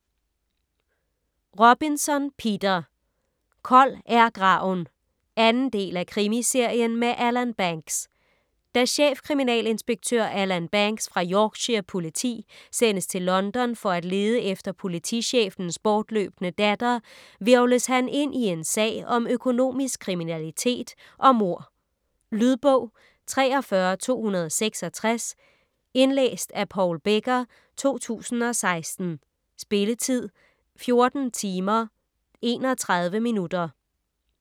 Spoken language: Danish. Robinson, Peter: Kold er graven 2. del af Krimiserien med Alan Banks. Da chefkriminalinspektør Alan Banks fra Yorkshire Politi sendes til London for at lede efter politichefens bortløbne datter, hvirvles han ind i en sag om økonomisk kriminalitet og mord. Lydbog 43266 Indlæst af Paul Becker, 2016. Spilletid: 14 timer, 31 minutter.